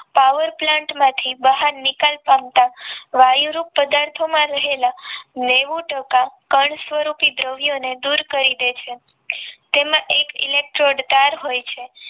Power plant માંથી બહાર નિકાલ પામતા વાયુરૂપ પદાર્થોમાં રહેલા નેવું ટકા કણ સ્વરૂપે દ્રવ્યો ને દૂર કરી દે છે તેમાં એક electro તાર હોય છે